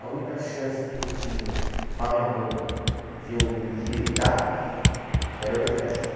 A única chance que eu tinha para minha mãe de eu endireitar era o exército.